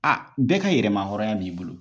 A bɛɛ ka yɛrɛma hɔrɔnya b'i bolo!